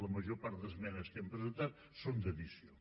la major part d’esmenes que hem presentat són d’addició